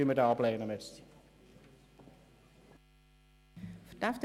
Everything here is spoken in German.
Wir lehnen ihn deshalb ab.